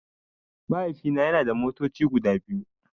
Mahaifina yana da motoci guda biyu.